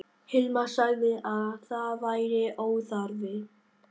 Hilmar sagði að það væri óþarfi.